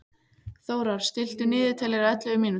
Þórar, stilltu niðurteljara á ellefu mínútur.